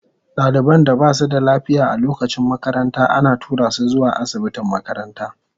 Daliban da ba su da lafiya a lokacin makaranta ana tura su zuwa asibitin makaranta.